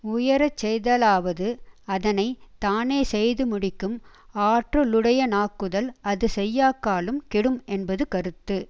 உயரச்செய்தலாவது அதனை தானேசெய்து முடிக்கும் ஆற்றலுடையனாக்குதல் அது செய்யாக்காலும் கெடும் என்பது கருத்து